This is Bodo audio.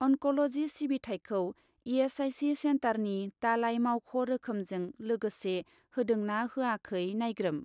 अनक'ल'जि सिबिथायखौ इ.एस.आइ.सि. सेन्टारनि दालाइ मावख' रोखोमजों लोगोसे होदों ना होयाखै नायग्रोम।